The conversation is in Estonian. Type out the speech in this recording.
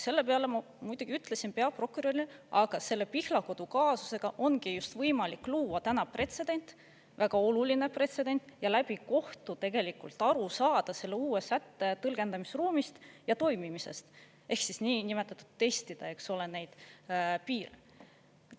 Selle peale ma muidugi ütlesin peaprokurörile, aga selle Pihlakodu kaasusega ongi võimalik luua täna pretsedent, väga oluline pretsedent, ja läbi kohtu tegelikult aru saada selle uue sätte tõlgendamisruumist ja toimimisest ehk niinimetatud testida, eks ole, neid piire.